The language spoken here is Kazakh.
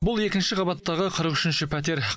бұл екінші қабаттағы қырық үшінші пәтер